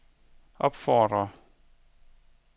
opfordrer